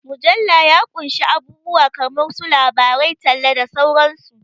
Mujalla ya ƙunshi abubuwa kamar su labarai, talla, da sauran su.